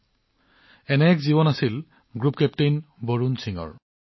এনেকুৱা এটা জীৱন আছিল গ্ৰুপ কেপ্টেইন বৰুণ সিঙৰ